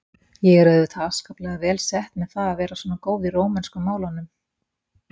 Ég er auðvitað afskaplega vel sett með það að vera svona góð í rómönsku málunum.